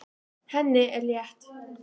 Henni er létt.